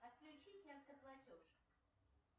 отключите автоплатеж